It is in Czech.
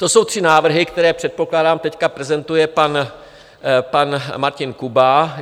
To jsou tři návrhy, které, předpokládám, teď prezentuje pan Martin Kuba.